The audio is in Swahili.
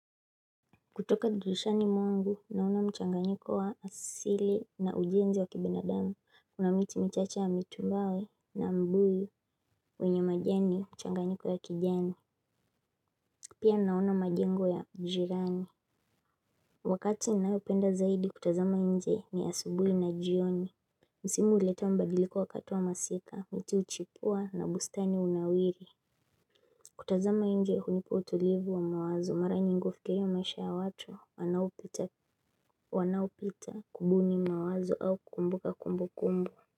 Kutokadirishani mwangu naona mchanganyiko wa asili na ujenzi wa kibinadamu kuna miti michache ya mitumbawe na mbuyu wenye majani mchanganyiko ya kijani. Pia naona majengo ya jirani. Wakati ninaoupenda zaidi kutazama nje ni asubuli na jioni. Msimu huleta mbadiliko wakati wa masika miti huchipua na bustani unawiri. Kutazama inje hunipa utulivu wa mawazo mara nyingi kufikiria maisha ya watu wanaopita kubuni mawazo au kukumbuka kumbu kumbu.